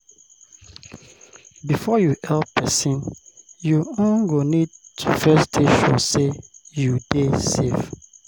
Before you help persin, you um go need to first dey sure sey you dey safe